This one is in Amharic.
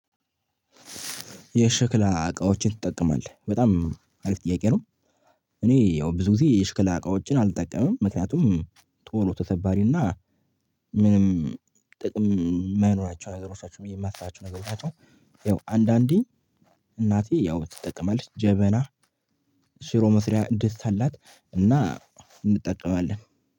የሸክል እቃዎችን ትጠቀማለህ በጣም አሪፍ ጥያቄ ነው? እኔ ያው ብዙ ጊዜ የሸክል እቃዎችን አልጠቀምም ምክንያቱም ቶሎ ተሰባሪና ምንም ጥቅም የማይኖራቸውን ነገሮች ናቸው ብዬ የማስባቸው ነገሮች ናቸው። ያው አንዳንዴ እናቴ ያው ትጠቀማለች ጀበና። ሽሮ መስሪያ ድስት አላት እና እንጠቀማለን።